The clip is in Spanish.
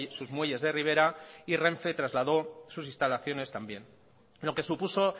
sus muelles de ribera y renfe trasladó sus instalaciones también lo que supuso